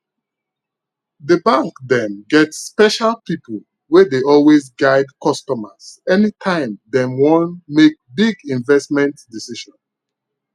the bank dem get special people wey dey always guide customers anytime dem wan make big investment decision